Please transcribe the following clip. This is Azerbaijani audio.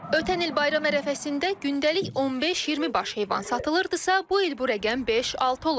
Ötən il bayram ərəfəsində gündəlik 15-20 baş heyvan satılırdısa, bu il bu rəqəm 5-6 olub.